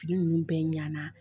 Fini nunnu bɛ ɲɛna.